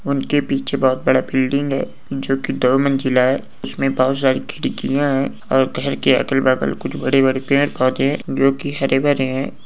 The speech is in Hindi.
उनके पीछे बहुत बड़ा बिल्डिंग है। जो कि दो है उसमें बहुत सारी खिड़कियां है। और घर की अकल बगल कुछ बड़े बड़े पेड़ पौधे जो की हरे भरे हैं।